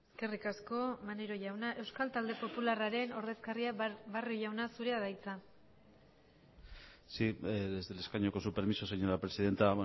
eskerrik asko maneiro jauna euskal talde popularraren ordezkaria barrio jauna zurea da hitza sí desde el escaño con su permiso señora presidenta